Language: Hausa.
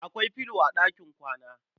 Akwai filo a ɗakin kwana.